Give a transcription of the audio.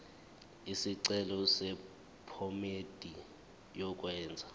isicelo sephomedi yokwenze